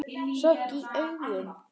Sorg í augum.